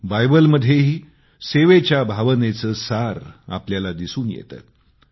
बायबलमध्येही सेवेच्या भावनेचे सार आपल्याला दिसून येते